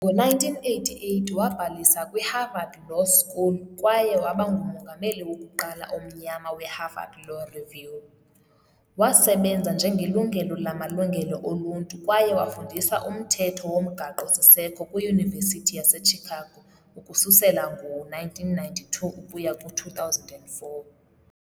Ngo-1988, wabhalisa kwiHarvard Law School kwaye waba ngumongameli wokuqala omnyama weHarvard Law Review. Wasebenza njengelungelo lamalungelo oluntu kwaye wafundisa umthetho womgaqo-siseko kwiYunivesithi yaseChicago ukususela ngo-1992 ukuya ku-2004.